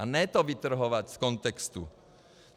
A ne to vytrhovat z kontextu.